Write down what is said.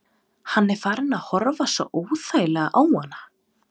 Hann er farinn að horfa svo óþægilega á hana.